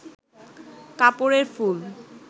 কাপড়ের ফুল